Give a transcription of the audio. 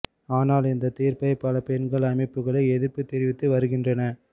ஆனால் இந்த தீர்ப்பை பல பெண்கள் அமைப்புகளே எதிர்ப்பு தெரிவித்து வருகின்றன